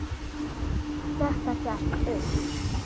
Þetta gekk upp.